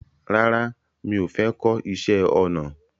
Rárá mi ò fẹ́ kọ́ iṣẹ́ ọnà